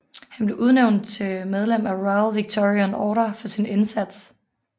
Han blev udnævnt til medlem af Royal Victorian Order for sin indsats